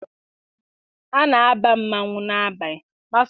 A na-aba mmanwụ n'abalị.